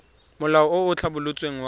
molao o o tlhabolotsweng wa